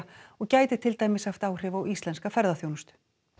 og gæti til dæmis haft áhrif á íslenska ferðaþjónustu